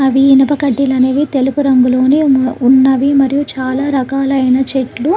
అవి ఇనుప కడ్డీలు అనేవి తెలుగు రంగులోని ఉన్నవి మరియు చాలా రకాలైన చెట్లు --